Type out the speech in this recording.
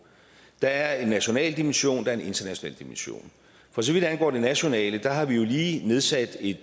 der er en national dimension der er en international dimension for så vidt angår det nationale har vi jo lige nedsat et